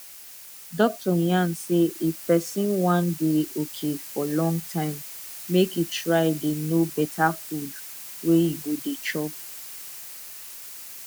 doctor yarn say if person wan dey okay for long time make e try dey know better food wey e go dey chop